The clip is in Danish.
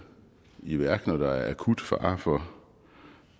i værk når der er akut fare for